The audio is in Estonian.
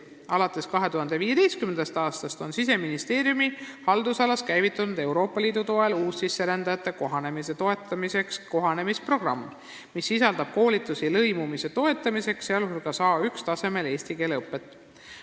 Alates 2015. aastast on Siseministeeriumi haldusalas Euroopa Liidu toel käivitunud uussisserändajate kohanemisprogramm, mis sisaldab koolitusi lõimumise toetamiseks, sh eesti keele õpet A1-tasemel.